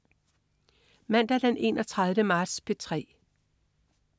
Mandag den 31. marts - P3: